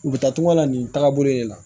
U bɛ taa tunga la nin tagabolo de la